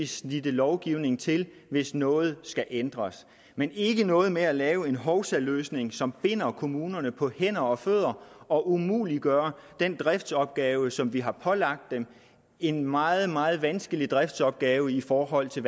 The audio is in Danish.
snittet lovgivningen til hvis noget skal ændres men ikke noget med at lave en hovsaløsning som binder kommunerne på hænder og fødder og umuliggør den driftsopgave som vi har pålagt dem en meget meget vanskelig driftsopgave i forhold til